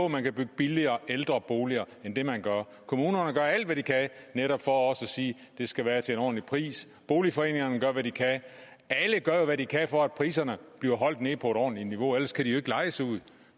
man kan bygge billigere ældreboliger end man gør kommunerne gør alt hvad de kan netop for også at sige at det skal være til en ordentlig pris boligforeningerne gør hvad de kan alle gør jo hvad de kan for at priserne bliver holdt nede på et ordentligt niveau for ellers kan de ikke lejes ud